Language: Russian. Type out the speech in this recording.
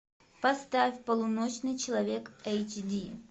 поставь полуночный человек эйч ди